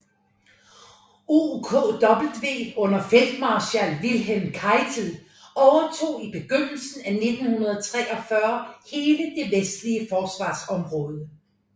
OKW under feltmarskal Wilhelm Keitel overtog i begyndelsen af 1943 hele det vestlige forsvarsområde